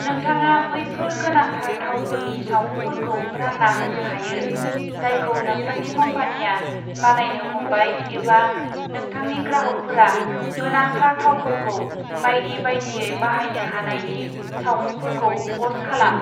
नोंथाङा बैफोर गोनांथार थावफोरनि सावमुंफोरखौ रानना होनो हायो, जायखौ नोंथांनि कम्पानिया बानायनो हमबाय एबा नोंथांनि ग्राहकफोरा गोनांथार थावफोरखौ बायदि बायदियै बाहायनो हानायनि सावमुंफोरखौ प'स्ट खालाम।